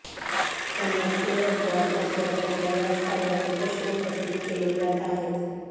पण राजकीय वर्तुळात मात्र त्याच्या याच कार्यावर प्रश्न उपस्थित केले जात आहेत